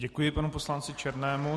Děkuji panu poslanci Černému.